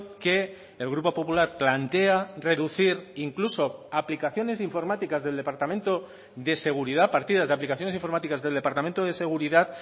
que el grupo popular plantea reducir incluso aplicaciones informáticas del departamento de seguridad partidas de aplicaciones informáticas del departamento de seguridad